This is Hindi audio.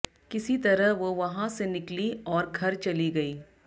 किसी तरह वो वहां से निकली औरर घर चली गई